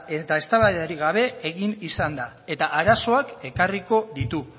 eta eztabaidarik gabe egin izan da eta arazoak ekarriko ditu